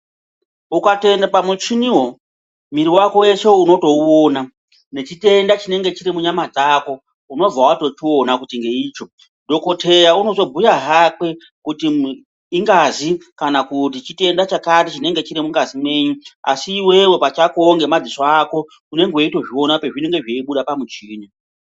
Ukatoende pamuchiniwo mwiri vako weshe unotouona nechitenda chinenge chiri munyama dzako unobva vatochiona kuti ngeicho. Dhokoteya unozobhuya hakwe kuti ingazi kana kuti chitenda chakati chinenge chiri mungazi mwenyu. Asi iwewe pachakowo ngemadziso ako unenge weitozviona pazvinenge zveibuda pamuchini.